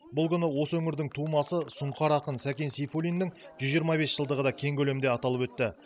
бұл күні осы өңірдің тумасы сұңқар ақын сәкен сейфулиннің жүз жиырма бес жылдығы да кең көлемде аталып өтті